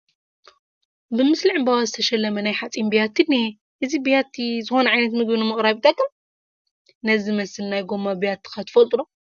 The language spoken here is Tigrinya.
ብምስሊ ዕምበባ ዝተሸለመ ናይ ሓፂን ቢያት እኒሀ፡፡ እዚ ቢያቲ ዝኾነ ዓይነት ምግቢ ንምቕራብ ይጠቅም፡፡ ነዚ ዝመስል ናይ ጎማ ቢያቲ ከ ትፈልጡ ዶ?